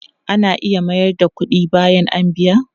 Ana iya mayar da kudi bayan a biya?